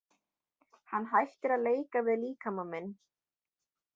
Hann hættir að leika við líkama minn.